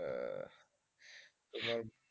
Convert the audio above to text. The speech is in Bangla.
এবার,